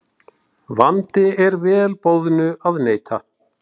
Vandi er vel boðnu að neita.